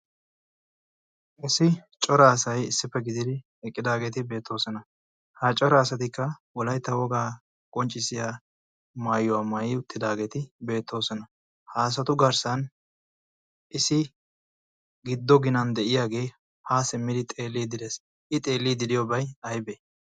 issi coraasai issippe gididi eqqidaageeti beettoosona ha coraasatikka wolaytta wogaa qonccissiya maayuwaa maayi uttidaageeti beettoosona ha asatu garssan issi giddo ginan de'iyaagee haa simmidi xeelli direes i xeellii diriyoobay aybee